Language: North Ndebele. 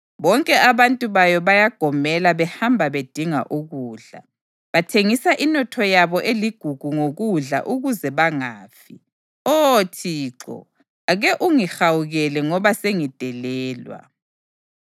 Bonke abantu bayo bayagomela behamba bedinga ukudla; bathengisa inotho yabo eligugu ngokudla ukuze bangafi. “Oh Thixo, ake ungihawukele ngoba sengidelelwa.”